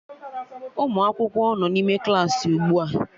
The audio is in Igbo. Ụmụ akwụkwọ nọ n'ime Klassị ugbu a